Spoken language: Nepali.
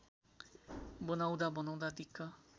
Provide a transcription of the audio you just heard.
बनाउँदा बनाउँदा दिक्क